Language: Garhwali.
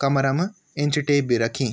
कमरा म इंच टेप भी रखीं।